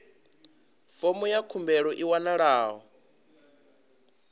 fomo ya khumbelo i wanalaho